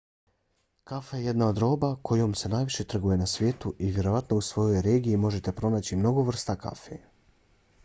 kafa je jedna od roba kojom se najviše trguje na svijetu i vjerovatno u svojoj regiji možete pronaći mnogo vrsta kafe